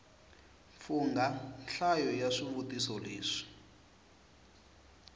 fungha nhlayo ya swivutiso leswi